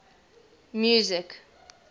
music